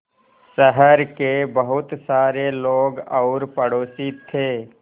शहर के बहुत सारे लोग और पड़ोसी थे